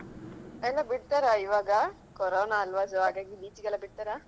ಎಲ್ಲಾ ಬಿಡ್ತಾರಾ ಇವಾಗ ಕೊರೋನಾ ಅಲ್ವಾ so ಹಾಗಾಗಿ beach ಗೆಲ್ಲಾ ಬಿಡ್ತಾರಾ?